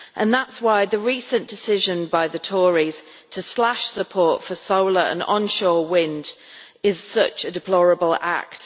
That is why the recent decision by the Tories to slash support for solar and onshore wind is such a deplorable act.